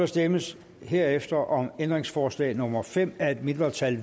stemmes herefter om ændringsforslag nummer fem af et mindretal